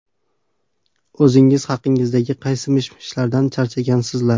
O‘zingiz haqingizdagi qaysi mish-mishlardan charchagansizlar?